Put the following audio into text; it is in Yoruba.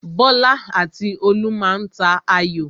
Bọ́lá àti Olú má a tà ayò.